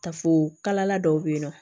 Ta fo kalala dɔw be yen nɔ